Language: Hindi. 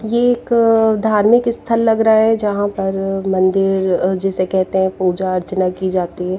ये एक धार्मिक स्थल लग रहा है जहाँ पर मंदिर जिसे कहते हैं पूजा अर्चना की जाती है।